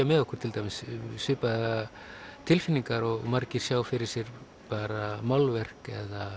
með okkur til dæmis svipaðar tilfinningar og margir sjá fyrir sér bara málverk